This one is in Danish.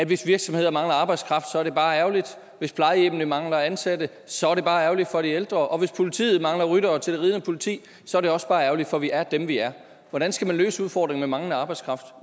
hvis virksomheder mangler arbejdskraft så er det bare ærgerligt hvis plejehjemmene mangler ansatte så er det bare ærgerligt for de ældre og hvis politiet mangler ryttere til det ridende politi så er det også bare ærgerligt for vi er dem vi er hvordan skal man løse udfordringen med manglende arbejdskraft